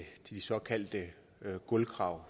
de såkaldte gulvkrav